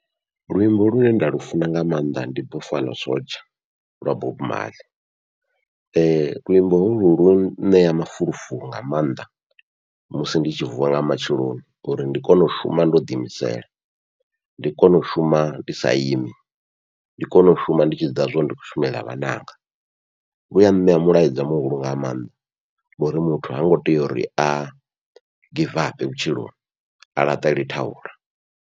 Luimbo lune nda lu funa nga maanḓa ndi buffalo soldier lwa Bob Marley luimbo holwu lu ṋea mafulufulo nga maanḓa musi ndi tshi vuwa nga matsheloni uri ndi kone u shuma ndo ḓi imisela, ndi kone u shuma ndi sa imi ndi kone u shuma ndi tshi ḓivha zwa uri ndi khou shumela vhananga, luya ṋea mulaedza muhulu nga maanḓa ngori muthu hango tea uri a givape vhutshiloni a laṱale thaula.